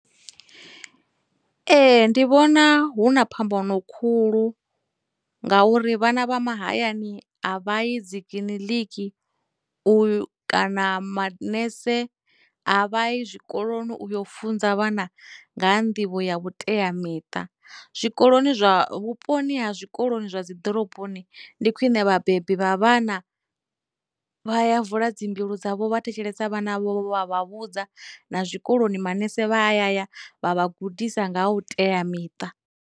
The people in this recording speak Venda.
Ee, ndi vhona hu na phambano khulu ngauri vhana vha mahayani a vha yi dzikiḽiniki u kana manese a vha yi zwikoloni u yo funza vhana ngaha nḓivho ya vhuteamiṱa, zwikoloni zwa, vhuponi ha zwikoloni zwa dziḓoroboni ndi khwine vhabebi vha vhana vha ya vula dzimbilu dzavho vha thetshelesa vhana vho vha vha vhudza, na zwikoloni manese vha ya ya vha vha gudisa nga ha u teamiṱa.